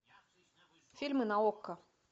фильмы на окко